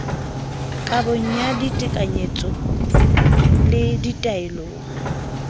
kabong ya ditekanyetso le ditaelong